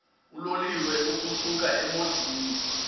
uloliwe ukusuk emontini